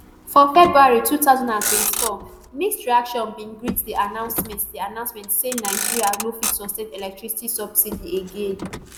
for february two thousand and twenty-four mixed reactions bin greet di announcement di announcement say nigeria no fit sustain electricity subsidy again